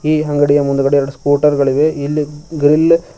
ಈ ಅಂಗಡಿಯ ಮುಂದ್ಗಡೆ ಎರಡು ಸ್ಕೂಟರ್ ಗಳಿವೆ ಇಲ್ಲಿ ಗ್ರಿಲ್ --